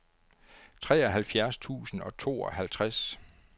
treoghalvfjerds tusind og tooghalvtreds